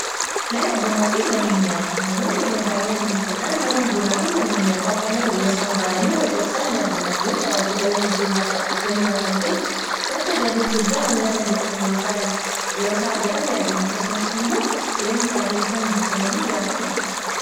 mana bunaafi manneenyaataa namoonni yeroo baay'ee waliin ta'uudhaan mana bunaafi manneenyaataa kana yosaan bananii hojatan ni argina kuni tajaajilawwan hedduu kennu rakan kee maddagalii guddaa hangana hin jedhamne yeroosan argatan ni argina akkasumas immoo jireenya isaanii rosaan i jifatanii jiraatan ni argina